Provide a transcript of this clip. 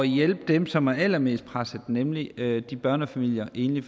hjælpe dem som er allermest presset nemlig de børnefamilier og enlige